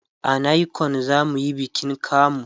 a nicon zamuyi bikin kamu